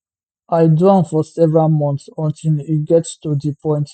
i do am for several months until e get to di point